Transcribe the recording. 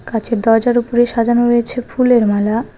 কাঁচের দরজার উপরে সাজানো রয়েছে ফুলের মালা।